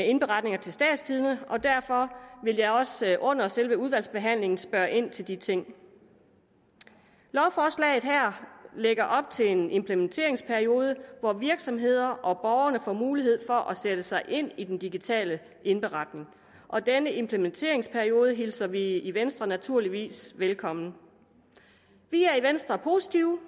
indberetninger til statstidende og derfor vil jeg også under selve udvalgsbehandlingen spørge ind til de ting lovforslaget her lægger op til en implementeringsperiode hvor virksomhederne og borgerne får mulighed for at sætte sig ind i den digitale indberetning og denne implementeringsperiode hilser vi i venstre naturligvis velkommen vi er i venstre positive